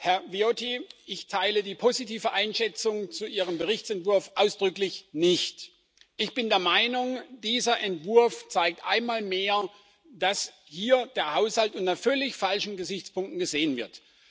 Herr Viotti, ich teile die positive Einschätzung zu Ihrem Berichtsentwurf ausdrücklich nicht. Ich bin der Meinung, dieser Entwurf zeigt einmal mehr, dass hier der Haushalt unter völlig falschen Gesichtspunkten gesehen wird.